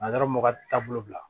m'u ka taabolo bila